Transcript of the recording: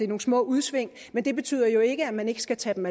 nogle små udsving men det betyder jo ikke at man ikke skal tage dem